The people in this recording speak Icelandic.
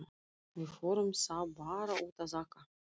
Við förum þá bara út að aka!